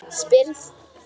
spyrð þú.